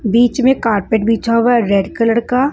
बीच में कार्पेट बिछा हुआ है रेड कलर का।